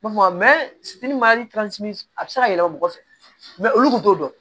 a bɛ se ka yɛlɛma mɔgɔ fɛ olu kun t'o dɔn